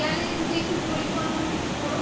গেলে যদি একটু পরিকল্পনা কিছু করো।